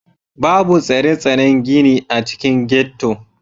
Babu tsare-tsaren gini a cikin ghetto.